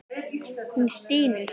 Hún stynur.